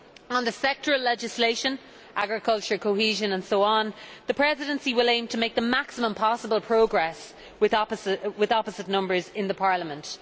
On the sectoral legislation agriculture, cohesion etc the Presidency will aim to make the maximum possible progress with its opposite numbers in Parliament.